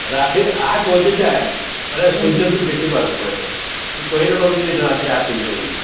ରାତିର ୮ ବାଜେ ଯାଏ ମାନେ ସୂର୍ଯ୍ୟ ଦେଖି ପାରିବୁ ତୁ ହେନୁ ତୁଇ କହି ନାଇଁ ପାରିବୁ ଯେ ଏଟା ରାତିର ୮ ହେଇଛେ ବୋଲି କରି